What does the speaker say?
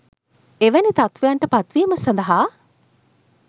එවැනි තත්ත්වයන්ට පත්වීම සඳහා